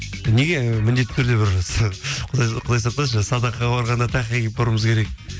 неге міндетті түрде бір құдай сақтасын жаңағы садақаға барғанда тақия киіп баруымыз керек